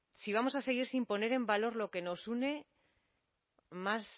si vamos a seguir sin poner en valor lo que nos une más